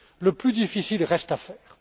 Le plus difficile reste à faire.